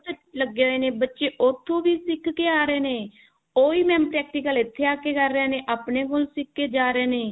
ਲੱਗੇ ਹੋਏ ਨੇ ਬੱਚੇ ਉੱਥੋਂ ਵੀ ਸਿੱਖ ਕੇ ਆ ਰਹੇ ਨੇ ਉਹੀ mam practical ਇੱਥੇ ਆ ਕਿ ਕਰ ਰਹੇ ਨੇ ਆਪਣੇ ਕੋਲੋ ਸਿੱਖ ਕਿ ਜਾ ਰਹੇ ਨੇ